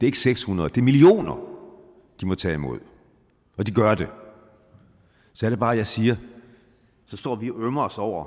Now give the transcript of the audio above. ikke seks hundrede det er millioner de må tage imod og de gør det så er det bare jeg siger at så står vi og ømmer os over